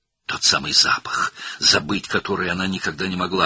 Həmin o qoxu, heç vaxt unuda bilmədiyi qoxu.